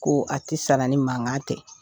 Ko a tɛ sara ni mankan tɛ